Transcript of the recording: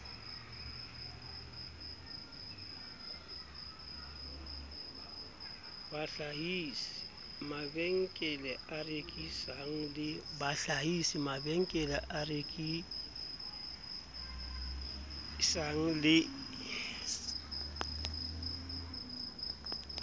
bahlahisi mabenkele a rekisang le